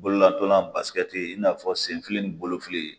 Bololatanya i n'a fɔ senfili ni bolofili